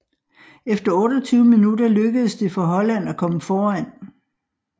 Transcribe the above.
Efter 28 minutter lykkedes det for Holland at komme foran